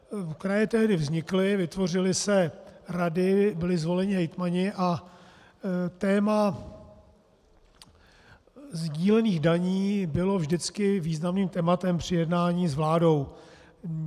Kraje tehdy vznikly, vytvořily se rady, byli zvoleni hejtmani a téma sdílených daní bylo vždycky významným tématem při jednání s vládou.